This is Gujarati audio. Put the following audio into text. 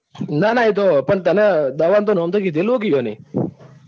ના ના એતો પણ તને દવા નું નામ તો કીધેલું છે ને એમને.